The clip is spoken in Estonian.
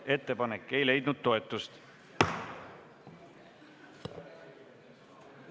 Ettepanek ei leidnud toetust.